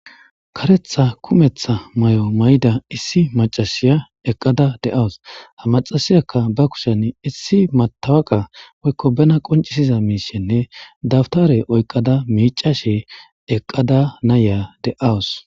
Karetha kumetha may'o may'ida issi macashiya eqqada de awus hamaxasiyakka ba kushen issi matawaka woykko bena qoncisiza miishenne dawtare oyqada miicashe eqqada nayya de'awus